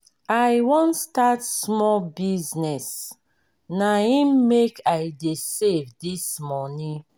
i wan start small business na im make i dey save dis moni.